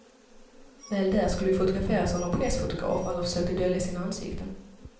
Väl där skulle vi fotograferas av nån pressfotograf, alla försökte dölja sina ansikten.